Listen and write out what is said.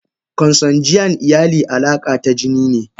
Consanguine iyali a alaka tajinine.